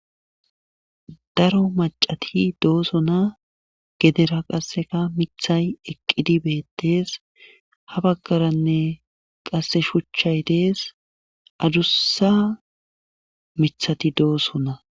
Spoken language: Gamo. daro macati dooso na gedera qasseka mithay eqqidi beettes ha baggaranne qasse shuchchay dees adussa mithati dooso na